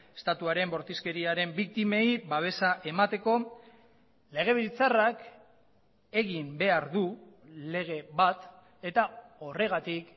estatuaren bortizkeriaren biktimei babesa emateko legebiltzarrak egin behar du lege bat eta horregatik